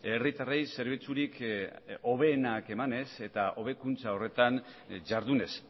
herritarrei zerbitzurik hoberenak emanez eta hobekuntza horretan jardunez